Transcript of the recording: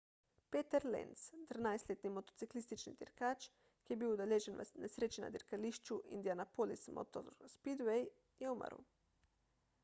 peter lenz 13-letni motociklistični dirkač ki je bil udeležen v nesreči na dirkališču indianapolis motor speedway je umrl